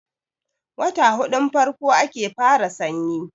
wata hudun farko ake fara sanyi